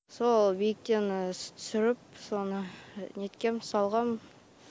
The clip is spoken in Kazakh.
сол биіктен түсіріп соны неткем салғам